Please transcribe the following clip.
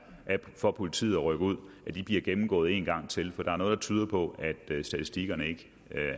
for politiet at rykke ud bliver gennemgået en gang til for der er noget der tyder på at statistikkerne ikke